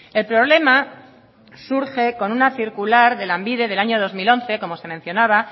el problema surge con una circular de lanbide del año dos mil once como se mencionaba